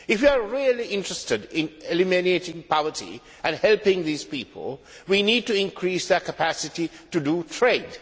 If you are really interested in eliminating poverty and helping these people, we need to increase their capacity to trade.